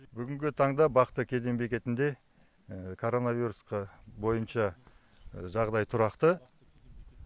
бүгінгі таңда бақты кеден бекетінде коронавирусқа бойынша жағдай тұрақты